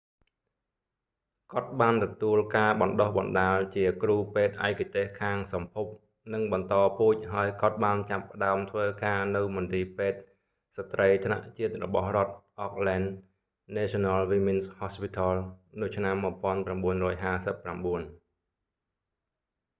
គាត់បានទទួលការបណ្តុះបណ្តាលជាគ្រូពេទ្យឯកទេសខាងសម្ភព និងបន្តពូជ ហើយគាត់បានចាប់ផ្តើមធ្វើការនៅមន្ទីរពេទ្យស្ត្រីថ្នាក់ជាតិរបស់រដ្ឋ auckland national women's hospital នៅឆ្នាំ 1959